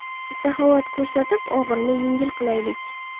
Saxovat ko‘rsatib, og‘irini yengil qilaylik.